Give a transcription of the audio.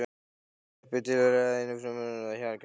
Sveppir tilheyra æðri einfrumungum því þeir hafa kjarna.